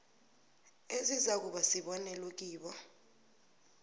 ezizakuba sibonelo kibo